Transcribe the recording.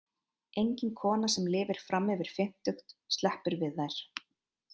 Engin kona sem lifir fram yfir fimmtugt sleppur við þær.